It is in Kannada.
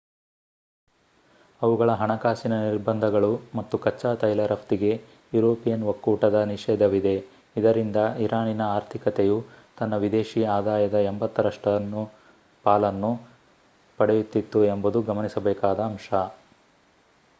ಅವುಗಳ ಹಣಕಾಸಿನ ನಿರ್ಬಂಧಗಳು ಮತ್ತು ಕಚ್ಚಾ ತೈಲ ರಫ್ತಿಗೆ ಯುರೋಪಿಯನ್ ಒಕ್ಕೂಟದ ನಿಷೇಧವಿದೆ ಇದರಿಂದ ಇರಾನಿನ ಆರ್ಥಿಕತೆಯು ತನ್ನ ವಿದೇಶಿ ಆದಾಯದ 80% ರಷ್ಟು ಪಾಲನ್ನು ಪಡೆಯುತ್ತಿತ್ತು ಎಂಬುದು ಗಮನಿಸಬೇಕಾದ ಅಂಶ